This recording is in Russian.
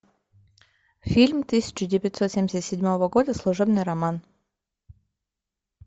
фильм тысяча девятьсот семьдесят седьмого года служебный роман